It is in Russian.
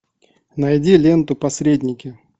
найди ленту посредники